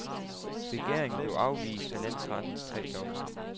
Begæringen blev afvist af landsrettens tre dommere.